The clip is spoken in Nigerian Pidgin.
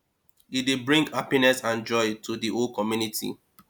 e dey bring hapiness and joy to di whole community